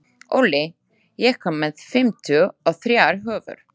Olli, ég kom með fimmtíu og þrjár húfur!